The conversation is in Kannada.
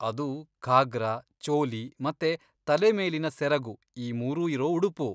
ಅದು ಘಾಗ್ರಾ, ಚೋಲಿ ಮತ್ತೆ ತಲೆಮೇಲಿನ ಸೆರಗು ಈ ಮೂರು ಇರೋ ಉಡುಪು.